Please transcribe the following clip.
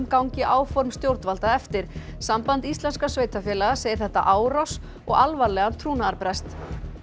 gangi áform stjórnvalda eftir samband íslenskra sveitarfélaga segir þetta árás og alvarlegan trúnaðarbrest